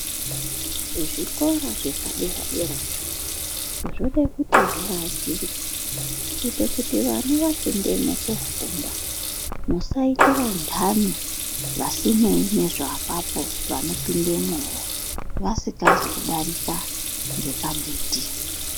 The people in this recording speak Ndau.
Kuzvikora zvepadera dera izvo zvode kuti zviakirwe kuite kuti vana vapindemwo kofunda vasaita vantani vasinei nezve apapo vano pindemwowo vasikazi kudarika ngepagedhi.